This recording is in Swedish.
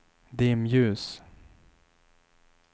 dimljus